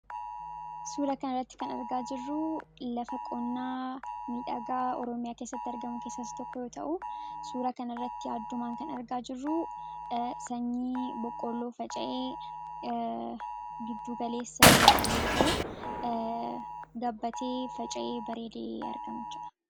suura kan irratti kan argaa jirruu lafa qonnaa midhagaa oroomiyaa keessatti argamu keessaas tokko yoo ta'u suura kan irratti addumaan kan argaa jirruu sanyii boqqoloo faca'ee gidduugaleessa irra jiru yoo ta'u gabbatee faca'e bareedee argamacha